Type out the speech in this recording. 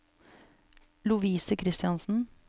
Lovise Kristiansen